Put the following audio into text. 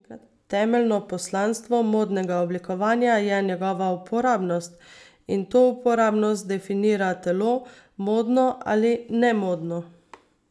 Temeljno poslanstvo modnega oblikovanja je njegova uporabnost, in to uporabnost definira telo, modno ali nemodno.